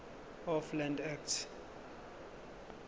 of land act